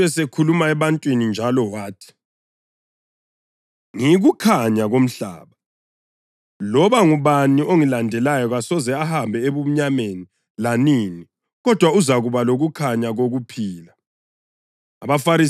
Kwathi uJesu esekhuluma ebantwini njalo wathi, “Ngiyikukhanya komhlaba. Loba ngubani ongilandelayo kasoze ahambe ebumnyameni lanini kodwa uzakuba lokukhanya kokuphila.”